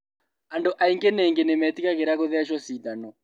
Andũ aingĩ ningĩ nĩmetigagĩra gũthecwo cindano